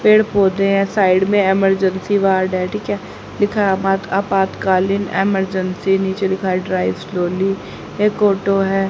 पेड़ पौधे हैं साइड में इमरजेंसी वार्ड है ठीक है लिखा है आपात आपातकालीन इमरजेंसी नीचे लिखा है ड्राइव स्लोली एक ऑटो है।